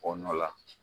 Kɔ nɔ la